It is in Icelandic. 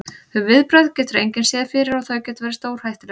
Þau viðbrögð getur engin séð fyrir og þau geta verið stórhættuleg.